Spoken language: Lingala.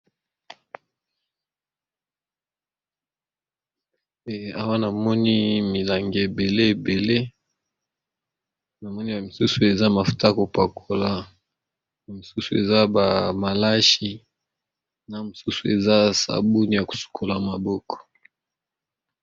Eawa namoni milangi ebele ebele na moni ya misusu eza mafuta kopakola mosusu eza ba malashi na mosusu eza sabuni ya kosukola maboko.